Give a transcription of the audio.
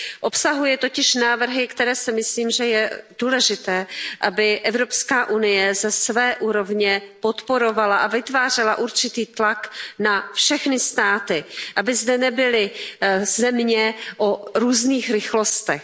Obsahuje totiž návrhy, které si myslím, že je důležité, aby Evropská unie ze své úrovně podporovala a vytvářela určitý tlak na všechny státy, aby zde nebyly země s různými rychlostmi.